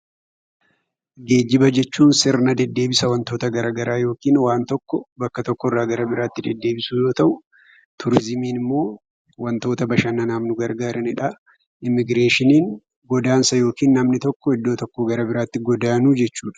Geejjiba jechuun sirna deddeebisa waanta garaagaraa yookiin waan tokko bakka tokkoo gara biraatti deddeebisuu yoo ta'u, turizimiin immoo waantota bashannanaaf nu gargaaran jechuudha. Immigireeshiniin godaansa yookiin namni tokko iddoo tokkoo iddoo biraatti godaanuu jechuudha.